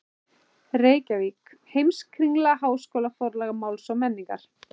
Reykjavík: Heimskringla- Háskólaforlag Máls og menningar.